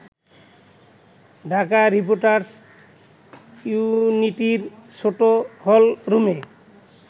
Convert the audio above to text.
Dhaka reporters ইউনিটির ছোট হলরুমে